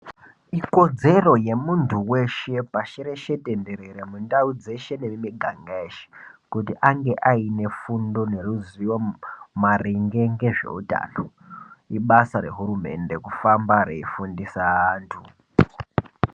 Ikodzero yemuntu weshe pashi reshe tenderere mundau dzeshe nemumiganga yeshe kuti ange aine fundo ngeruziwo maringe ngezveutano ibasa reuhurmende kufamba reifundisa anhu.